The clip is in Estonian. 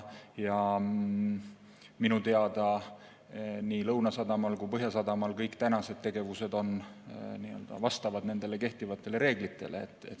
Minu teada nii Lõunasadamas kui Põhjasadamas kõik tänased tegevused vastavad kehtivatele reeglitele.